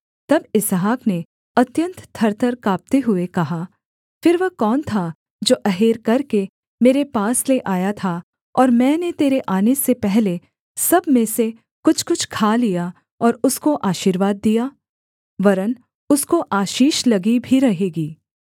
तब इसहाक ने अत्यन्त थरथर काँपते हुए कहा फिर वह कौन था जो अहेर करके मेरे पास ले आया था और मैंने तेरे आने से पहले सब में से कुछ कुछ खा लिया और उसको आशीर्वाद दिया वरन् उसको आशीष लगी भी रहेगी